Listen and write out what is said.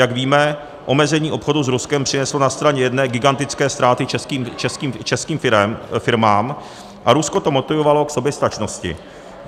Jak víme, omezení obchodu s Ruskem přineslo na straně jedné gigantické ztráty českým firmám a Rusko to motivovalo k soběstačnosti.